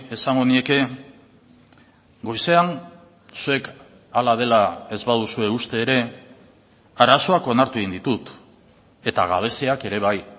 esango nieke goizean zuek hala dela ez baduzue uste ere arazoak onartu egin ditut eta gabeziak ere bai